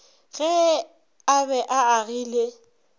ge a be a agile